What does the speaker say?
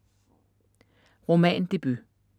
Roman debut